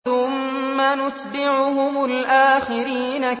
ثُمَّ نُتْبِعُهُمُ الْآخِرِينَ